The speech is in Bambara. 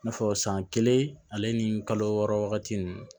I n'a fɔ san kelen ale ni kalo wɔɔrɔ wagati ninnu